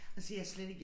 Og siger jeg slet ikke